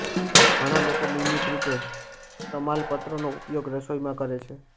ઘણા લોકો નિયમિતરૂપે તમાલપત્રનો ઉપયોગ રસોઈમાં કરે છે